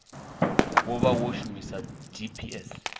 wo vha wo shumisa dps